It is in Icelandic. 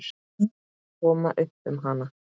Koma upp um hana?